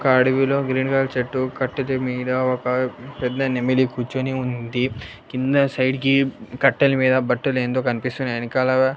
ఒక అడవిలో green colour చెట్టు కట్టిది మీద ఒక పెద్ద నెమిలి కూర్చొని ఉంది కింద సైడ్ కి కట్టెల మీద బట్టలు ఏందో కనిపిస్తున్నాయి ఎనకాల.